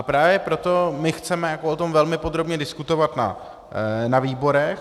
A právě proto my chceme o tom velmi podrobně diskutovat na výborech.